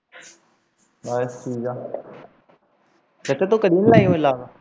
ਬਸ ਠੀਕ ਹੈ ਚਾਚਾ ਤੂੰ ਕਦੇ ਨਹੀਂ ਲਾਬ